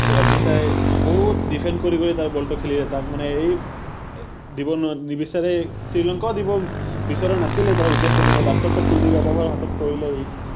ৰন্জিতে বহুত defend কৰি কৰি তাৰ ball টো খেলিলে, তাক মানে এই দিব নিবিচাৰে, শ্ৰীলংকাও দিব বিচৰা নাছিলে তাৰ wicket টো কিন্তু last ত টো কুলদিপ য়াদবৰ হাতত পৰিলে সি